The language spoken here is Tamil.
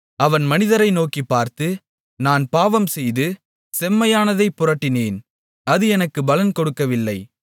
அவன் மனிதரை நோக்கிப் பார்த்து நான் பாவம் செய்து செம்மையானதைப் புரட்டினேன் அது எனக்குப் பலன் கொடுக்கவில்லை